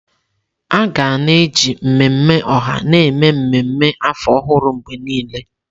Aga na-eji mmemme ọha na-eme ememme afọ ọhụrụ mgbe niile.